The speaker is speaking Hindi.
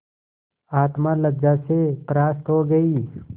आत्मा लज्जा से परास्त हो गयी